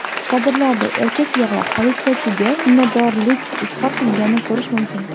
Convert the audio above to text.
Kadrlarda erkak yig‘lab, politsiyachiga minnatdorlik izhor qilganini ko‘rish mumkin.